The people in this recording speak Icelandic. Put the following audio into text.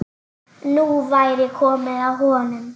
Nú væri komið að honum.